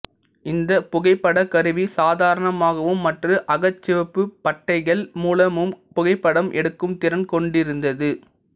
இந்த புகைப்பட கருவி சாதாரணமாகவும் மற்றும் அகச்சிவப்பு பட்டைகள் மூலமும் புகைப்படம் எடுக்கும் திறன் கொண்டிருந்தது